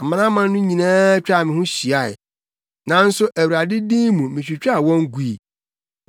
Amanaman no nyinaa twaa me ho hyiae, nanso Awurade din mu mitwitwaa wɔn gui.